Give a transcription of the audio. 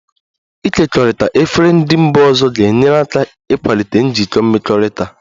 Ịkekọrịta efere ndị mba ọzọ ga-enyere aka ịkwalite njikọ mmekọrịta